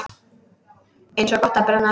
Eins gott að brenna ekki!